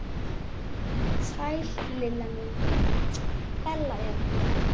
Sæl Lilla mín, Bella hérna.